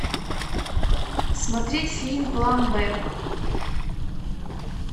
смотреть фильм план б